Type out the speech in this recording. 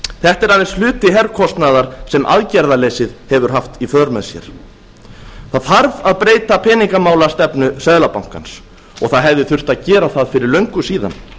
þetta er aðeins hluti herkostnaðar sem aðgerðaleysið hefur haft í för með sér það þarf að breyta peningamálastefna seðlabankans og það hefði þurft að gera það fyrir löngu síðan